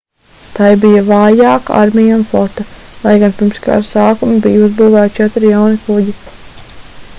tai bija vājāka armija un flote lai gan pirms kara sākuma bija uzbūvēti četri jauni kuģi